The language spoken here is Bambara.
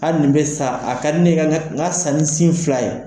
Hali nin bɛ sa a ka di ye n ka n ka sa ni sin fila ye